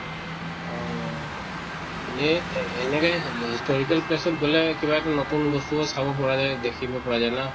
অহ এ এনেকে historical place ত গʼলে কিবা নতুন বস্তু চাব পৱা যায়, দেখিব পোৱা যায় না